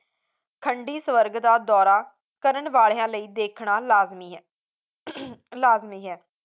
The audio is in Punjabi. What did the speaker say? ਠੰਡੀ ਸੁਰਗ ਦਾ ਦੌਰਾ ਕਰਨ ਵਾਲਿਆਂ ਲਈ ਦੇਖਣਾ ਲਾਜ਼ਮੀ ਹੈ ਲਾਜ਼ਮੀ ਹੈ